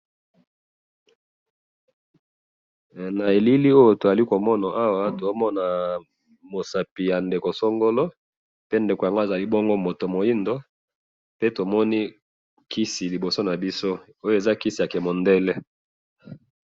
na elili oyo tozali komona awa tozali komona musapi ya ndeko songolo ya mwindu pembeni ya kisi oyo pe ezali kisi ya ki mundele .